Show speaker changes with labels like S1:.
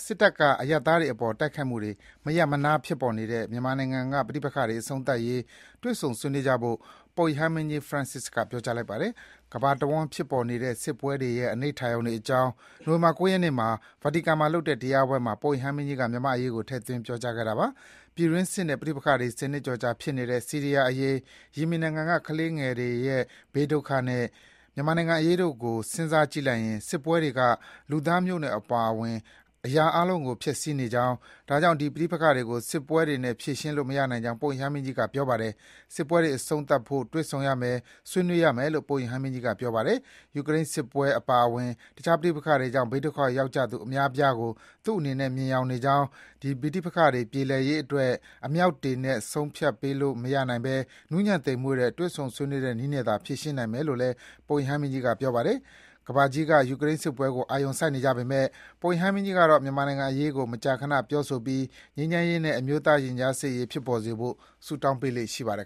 S1: စစ်တပ်က အရပ်သားတွေအပေါ် မရပ်မနားတိုက်ခိုက်နေတဲ့ မြန်မာနိုင်ငံမှာ ဖြစ်ပေါ်နေတဲ့ ပဋိပက္ခတွေ အဆုံးသတ်ရေး တွေ့ဆုံ ဆွေးနွေးကြဖို့ ပုပ်ရဟန်းမင်းကြီး Francis က ပြောကြားလိုက်ပါတယ်။ ကမ္ဘာတဝန်းဖြစ်နေတဲ့စစ်ပွဲတွေရဲ့ အနိဋ္ဌာရုံတွေအကြောင်း နိုဝင်ဘာ ၉ ရက်နေ့က Vatican မှာလုပ်တဲ့တရားပွဲမှာ ပုပ်ရဟန်းမင်းကြီးက မြန်မာ့အရေးကို ထည့်သွင်း ပြောကြားခဲ့တာပါ။ ပြည်တွင်းစစ်နဲ့ပဋိပက္ခတွေ ၁၀ နှစ်ကျော်ကြာ ဖြစ်နေတဲ့ ဆီးရီးယားအရေး၊ ယီမင်နိုင်ငံက ကလေးငယ်တွေရဲ့ ဘေးဒုက္ခနဲ့ မြန်မာနိုင်ငံအရေးတို့ကို စဉ်းစားကြည့်လိုက်ရင် စစ်ပွဲတွေက လူသားမျိုးနွယ်အပါအဝင် အရာအားလုံးကို ဖျက်ဆီးနေကြောင်း၊ ဒါကြောင့် ဒီပဋိပက္ခတွေကို စစ်ပွဲတွေနဲ့ ဖြေရှင်းလို့ မရနိုင်ကြောင်း ပုပ်ရဟန်းမင်းကြီးက ပြောပါတယ်။ စစ်ပွဲတွေအဆုံးသတ်ဖို့ တွေ့ဆုံရမယ်၊ ဆွေးနွေးရမယ်လို့ ပုပ်ရဟန်းမင်းကြီးကပြောပါတယ်။ ယူကရိန်းစစ်ပွဲအပါအဝင် တခြား ပဋိပက္ခတွေကြောင့် ဘေးဒုက္ခရောက်ကြသူ အများအပြားကို သူ့အနေနဲ့ မြင်ယောင်နေကြောင်း၊ ဒီပဋိပက္ခတွေပြေလည်ရေးအတွက် အမြောက်တွေနဲ့ ဆုံးဖြတ်ပေးလို့မရနိုင်ဘဲ နူးညံ့သိမ်မွေ့တဲ့ တွေ့ဆုံ ဆွေးနွေးတဲ့နည်းနဲ့သာ ဖြေရှင်းနိုင်မယ်လို့ ပုပ်ရဟန်းမင်းကြီးက ပြောပါတယ်။ ကမ္ဘာကြီးက ယူကရိန်းစစ်ပွဲကိုအာရုံစိုက်နေကြပေမဲ့ ပုပ်ရဟန်းမင်းကြီးကတော့ မြန်မာနိုင်ငံအရေးကို မကြာခဏ ပြောဆိုပြီး ငြိမ်းချမ်းရေးနဲ့ အမျိုးသားရင်ကြားစေ့ရေး ဖြစ်ပေါ်စေဖို့ ဆုတောင်
S2: းပေးလေ့ရှိပါတယ်